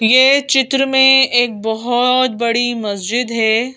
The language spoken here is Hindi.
ये चित्र में एक बहुत बड़ी मस्जिद है।